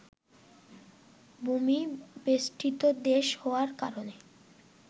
ভূমি-বেষ্টিত দেশ হওয়ার কারণে